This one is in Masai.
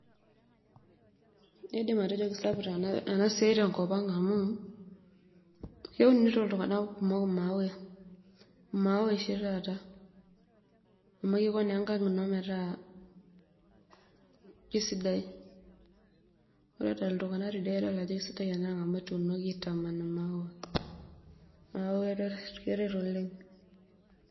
Indim atejo kesapuk enasiai tenkop aang amu keunito ltunganak kumok imaua, imaua oshi taata amu kiko naa enkang ino metaa kesidai, ore ltunganak tidie na kedol ajo kesidai amu etuunoki aitaman maua, neaku keret oleng.